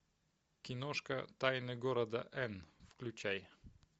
киношка тайны города эн включай